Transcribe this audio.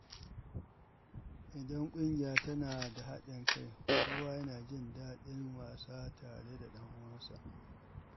Idan ƙungiya tana da haɗin kai, kowa yana jin daɗin wasa tare da ɗan uwansa.